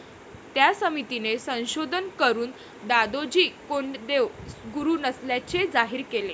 त्या समितीने संशोधन करून दादोजी कोंडदेव गुरु नसल्याचे जाहीर केले.